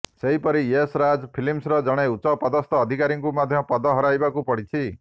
ସେହିପରି ୟଶ୍ ରାଜ୍ ଫିଲ୍ମସର ଜଣେ ଉଚ୍ଚପଦସ୍ଥ ଅଧିକାରୀଙ୍କୁ ମଧ୍ୟ ପଦ ହରାଇବାକୁ ପଡିଛି